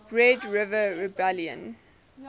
red river rebellion